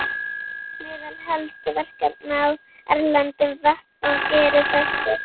Meðal helstu verkefna á erlendum vettvangi eru þessi